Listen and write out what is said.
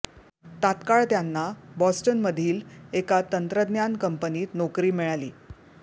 तात्काळ त्यांना बोस्टनमधील एका तंत्रज्ञान कंपनीत नोकरी मिळाली